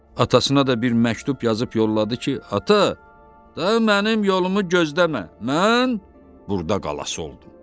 Atasına da bir məktub yazıb yolladı ki, ata, daha mənim yolumu gözləmə, mən burda qalası oldum.